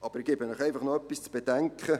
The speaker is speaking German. Aber ich gebe Ihnen etwas zu bedenken: